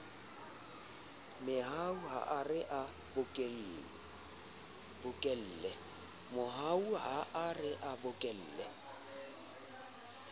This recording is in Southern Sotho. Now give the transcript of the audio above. mehau ha re a bokolle